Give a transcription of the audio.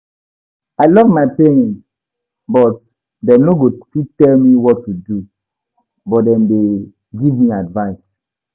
I love my parents but dem no go fit tell me what to do, but dem dey give me advice